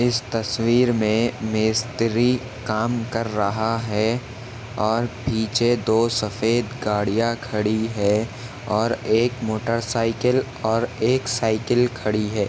इस तस्वीर मे मिस्त्री काम कर रहा है और पीछे दो सफ़ेद गाड़िया खड़ी है और एक मोटरसाइकल और एक साइकील खड़ी है।